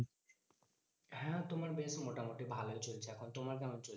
হ্যাঁ তোমার বেশ মোটামুটি ভালোই চলছে এখন। তোমার কেমন চলছে?